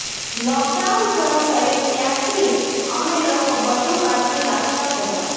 lockdown શરૂ થયું ત્યારથી અમે લોકો બધુ કાળજી રાખતા જ હતા